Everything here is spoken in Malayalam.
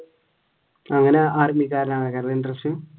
അങ്ങനെ ആര്മികാരനാകാൻ interest